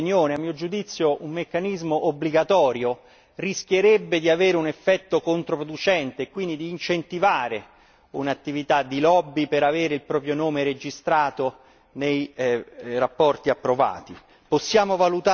vorrei esprimere la mia opinione a mio giudizio, un meccanismo obbligatorio rischierebbe di avere un effetto controproducente e quindi di incentivare un'attività di lobby per ottenere il proprio nome registrato nelle relazioni approvate.